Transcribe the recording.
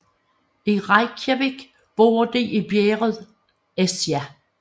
I Reykjavík bor de i bjerget Esja